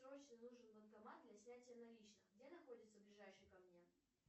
срочно нужен банкомат для снятия наличных где находится ближайший ко мне